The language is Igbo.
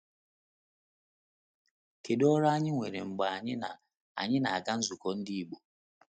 Kedu udị ọrụ anyị nwere mgbe anyị na - anyị na - aga nzukọ Ndị Igbo?